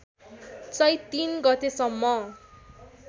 चैत्र ३ गतेसम्म